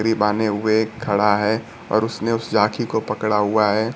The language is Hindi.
बांने हुए एक खड़ा है और उसने उस जाकी को पकड़ा हुआ है।